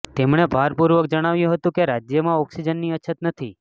તેમણે ભારપૂર્વક જણાવ્યું હતું કે રાજ્યમાં ઓક્સિજનની અછત નથી